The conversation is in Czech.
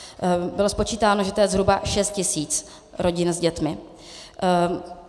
Bylo spočítáno, že to je zhruba šest tisíc rodin s dětmi.